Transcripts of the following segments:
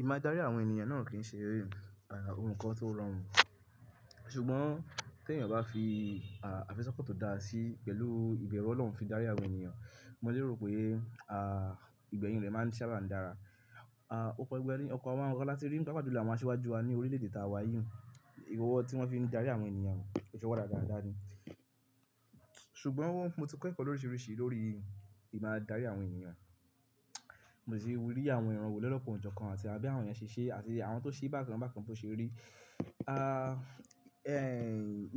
Ìmáa dárí àwọn ènìyàn náà kì í ṣe ohun kan tó rọrùn. Ṣùgbọ́n tí ènìyàn bá fi àfiso pọ̀ tó dáa sí pẹ̀lú ìbẹ̀rù Ọlọ́run fi dárí àwọn ènìyàn, mo léèrò pé ìgbẹ̀yìn rẹ̀ máa sábà ń dára. Ọ̀pọ̀ ìgbà ni, opo àwọn oro láti rí paapaa ju lọ́ àwọn aṣíwájú wa ní orílẹ̀ èdè ta wá yìí, owọ ti wọ́n fí n dárí àwọn ènìyàn, ìṣe owọ radá radáradá ni. Ṣùgbọ́n mo ti ko ẹ̀kọ́ lóríṣiríṣi lórí ìmáa dárí àwọn ènìyàn, mo sì rí àwọn ìran wó lolokan ojokan àti à bí àwọn èeyàn ṣè ṣé àti àwọn tó ṣe bákan bákan bo ṣe rí.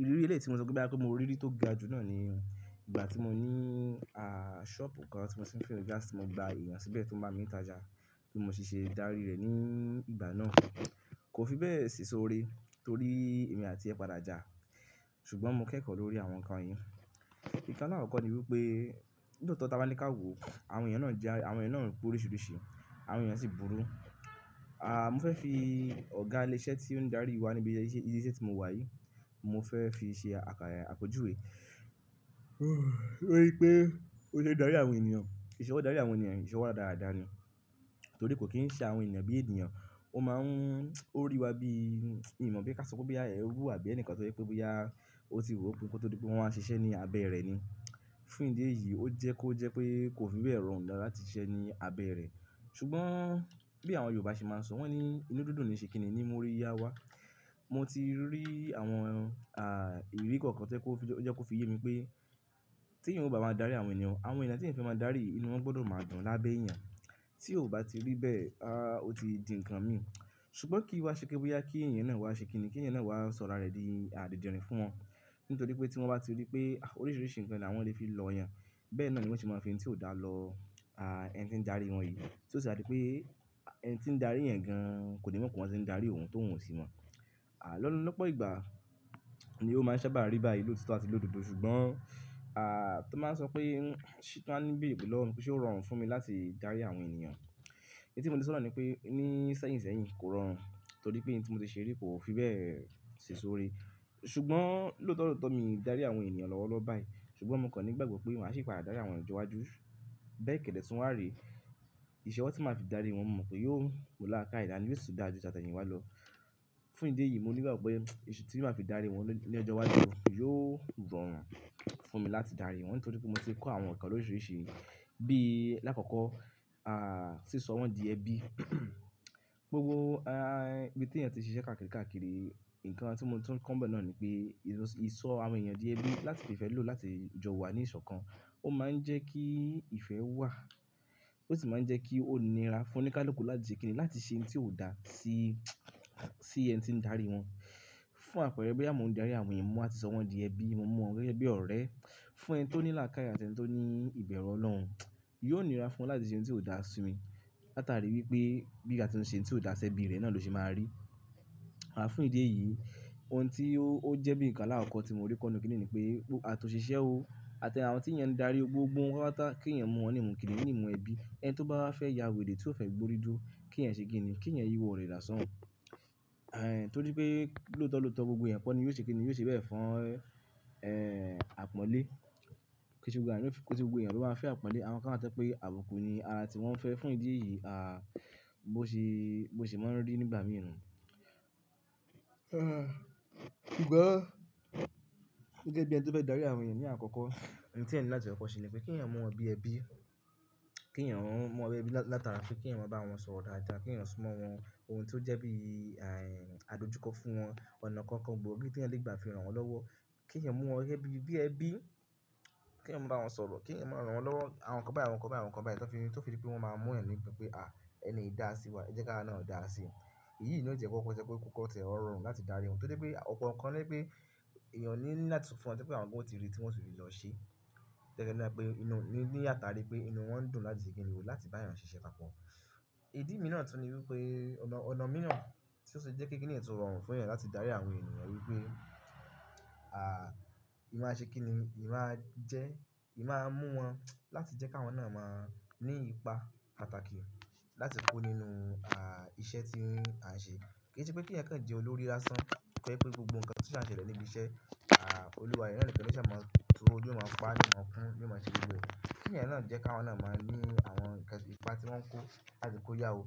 Ìrírí èlé tí mo so pe bóyá pé mo rí rí tó ga jù náà ni ìgbà tí mo ní a ṣọ́ọ̀bù kan tí mo ti n fill gas tí mo gba èèyàn síbẹ̀ tó ń bá mi ń tajà, tí mo sì ṣe dárí rẹ̀ ní ìgbà náà. Kò fi bẹ́ẹ̀ ṣìsọ́re torí èmi àti ẹ̀ padà jà. Ṣùgbọ́n mo kẹ́kọ̀ọ́ lórí àwọn nǹkan yìí. Ìkan lakọkọ ni wípé lóòótọ́ tí a bá ní ká wò, àwọn èyàn na ja, àwọn èyán náà ń pé oríṣiríṣi, àwọn ènìyàn sì burú. Mo fẹ́ fi ọ̀gá ilé iṣẹ́ tí ó ń dárí wa níbi ilé iṣẹ́ tí mo wà yìí, mo fẹ́ fi ṣe àkójùwé wípé ó lè dárí àwọn ènìyàn, ìṣewo dárí àwọn ènìyàn, ìṣewo radarada ni. Torí kò kín ń ṣe àwọn ènìyàn bí ènìyàn, ó máa ń orí wa bí mí mọ pé ká san pẹ́ bí àwọn ẹrú àbí ẹnìkan tó yẹ pé bóyá, ó tì ro pín kó tó di pé won wa ń ṣiṣẹ́ ní abẹ́ rẹ̀ ni. Fún ìdí èyí, ó jẹ́ kó jẹ́ pé kò fi bẹ́ẹ̀ rọrùn dada láti ṣiṣẹ́ ní abẹ́ rẹ̀. Ṣùgbọ́n bí àwọn Yorùbá ṣe máa ń sọ, wọ́n ní inú dùndún ni ṣe kínní ni mo rí yá wa. Mo ti rí àwọn a ìrírí kọ̀ọ̀kan tí ó jẹ́ kó fi yé mi pé tí ènìyàn bá máa dárí àwọn ènìyàn, àwọn ẹdá tí ènìyàn fe máa dárí, inú wọn gbọdọ̀ máa dùn lábẹ́ èèyàn. Tí ó bá ti rí bẹ́ẹ̀ a, ó ti di ǹkan mi. Ṣùgbọ́n kí ìwà ṣe pé bóyá kí ènìyàn náà wà ṣe kínní, kí ènìyàn náà wà sọ̀rọ̀ rẹ̀ di à didirin fún wọn. Nítorí pé tí wọ́n bá ti rí pé oríṣiríṣi ǹkan ni àwọn lè fi lọ yàn, bẹ́ẹ̀ náà ni wọ́n sì máa fi ohun tí ó dá lọ a ẹni tí ń darí wọn yìí. Tí ó sì a di pé ẹni tí ń darí ẹ̀yán gan kò ní mọ̀ pé wọn ti ń darí òun tóhun sì mọ̀. Lolọ́pọ̀ ìgbà ni ó máa ń sábà rí báyìí lótitọ́ àti lododo. Ṣùgbọ́n a tó máa ń sọ pé tí wọ́n má nbere lọwọ mi pé ṣé ó rọrùn fún mi láti dárí àwọn ènìyàn. Èyí tí mo lè sọ nàá ni pé ní sẹ́yìn sẹ́yìn kò rọrùn torí pé ohun tí mo ti ṣe rí kò fi bẹ́ẹ̀ ṣìsọ́re. Ṣùgbọ́n lóòótọ́ lóòótọ́ mi dárí àwọn ènìyàn lọ́wọ́lọ́wọ́ báyìí. Ṣùgbọ́n mo kàn nígbàgbọ́ pé màá sì padà dárí àwọn ènìyàn lọ́jọ́ iwájú. Bẹ́ẹ̀ kẹ̀dẹ̀ tun wá re, ìṣewọ́ tí màá fi dárí wọn, mo mọ̀ pé yóò mú làákàyè daní, yo si da jú tí at'ẹyin wà lọ. Fún ìdí èyí, mo nílò gbàgbọ́ pé iṣẹ́ tí màá fi dárí wọn ní ọjọ́ iwájú yóò rọrùn fún mi láti dárí wọn torí pé mo ti kọ́ àwọn nǹkan oríṣiríṣi bí i lákòókò, a sísọ wọn di ẹbí. Gbogbo ibi tí èèyàn ti ṣe iṣẹ́ káàkiri káàkiri, ǹkan tí mo tún kọ́ bẹ́ẹ̀ náà ni pé ìsọ àwọn èèyàn di ẹbí láti fi fẹ́ lò láti jọ wa ní ìṣọ̀kan, ó máa ń jẹ́ kí ìfẹ́ wà. Ó sì máa ń jẹ́ kí ó nira fún oníkálùkù láti ṣe kínní láti ṣe ohun tí ó dá sí ẹni tí ń darí wọn. Fún àpẹẹrẹ bí àwọn ò ń darí àwọn èèyàn mo wati sọ wọn di ẹbí, mo mu wọ́n gẹ́gẹ́ bí ọ̀rẹ́. Fún ẹni tí ó ní làákàyè àti ẹni tí ó ní ìbẹ̀rù Ọlọ́run, yóò nira fún wọn láti ṣe ohun tí ó dá sí mi. Láta rí wípé bí àti ṣe ohun tí ó dá sí ẹbí rẹ̀ náà ló ṣe máa rí. Fún ìdí èyí, ohun tí ó jẹ́ bí ǹkan alákọkọ tí mo rí kọ́ ní òkè níní pé àti òṣìṣẹ́ o àti àwọn tí èèyàn ń darí o gbogbo wọn pata kí èèyàn mọ̀ wọ́n ní ìmùkíní, ní ìmù ẹbí. Ẹni tí ó bá fẹ́ ya wèrè tí ó fẹ́ gbórí dúró, kí èèyàn ṣe kínní, kí èèyàn yí ọ̀rirẹ̀ da sòún ẹ. Torí pé lóòótọ́ lóòótọ́ gbogbo èèyàn kọ ni yóò ṣe kínní, yóò ṣe bẹ́ẹ̀ fún e àpọ́nlé. Kí n sí gbogbo èèyàn tó bá fẹ́ àpọ́nlé, àwọn kan wa ti o je pé àbùkù ni ara tí wọ́n fẹ́ fún ìdí èyí, bi o se máa ń rí nígbà mìí nu. Ṣùgbọ́n gẹ́gẹ́ bí ẹni tí ó fẹ́ darí àwọn èèyàn ní àkọ́kọ́, ohun tí èèyàn ní láti kọ́ ṣe ni pé kí èèyàn mọ̀ ọ́n bí ẹbí. Kí èèyàn mọ̀ ọ́n bí ẹbí látara pé kí èèyàn bá wọn sọ̀rọ̀ dáadáa, kí èèyàn súnmọ́ wọn ohun tí ó jẹ́ bí àdojúkọ fún wọn. Ọ̀nà kọ̀ọ̀kan bo mi tí ẹyan lè gbà fi ran wọn lọ́wọ́. Kí èèyàn mu wọ́n gẹ́gẹ́ bi bí ẹbí kí èèyàn máa bá wọn sọ̀rọ̀, kí èèyàn máa ran wọn lọ́wọ́. Àwọn kan bá àwọn kan bá àwọn kan bá ẹ̀ lọ́fin, tó fi rí pé wọ́n máa mọ̀ ẹni nípé pé a ẹni ìdásí wa, ẹ jẹ́ ká awa náà dáa sí. Èyí ló ń jẹ́ kó kọ́ tẹ́lẹ̀ ó rọrùn láti darí wọn torí pé ọ̀pọ̀ nǹkan ní pé èèyàn ní láti fún wọn, tí pé àwọn nǹkan tí wọ́n ti rí tí wọ́n sì fi lọ ṣe. Tẹ́lẹ̀ ẹ dára pé inú níyà tá rí pé inú wọn dùn láti ṣe kínní wò láti bá èèyàn ṣe iṣẹ́ pa pọ̀. Ìdí mìíràn tún ní wípé ọ̀nà mìíràn tí ó ṣe é jẹ́ kí kíni ẹ́ tó rọrùn fún èèyàn láti dárí àwọn ènìyàn wípé, a eyan aṣe kinni, eyan a je, eyan ma mu wan láti je ki àwọn na ma ni ipa pàtàkì láti ko nínú iṣẹ́ ti a n'se, kìíse pé ki èèyàn kàn jẹ olórí lásán, ti o je pe gbogbo nkán ti o n si a ṣẹlẹ̀ níbi iṣẹ́, a oluwa e náà nìkan náà lo ṣa ma pa, ni n o ma kun ni o ma ṣe gbogbo e, ki eyan náà je kin àwọn náà ma ni àwọn ipa ti won ko, láti pe oya o.